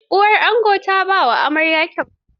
Uwar ango ta ba wa amarya kyauta.